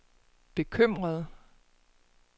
bekymret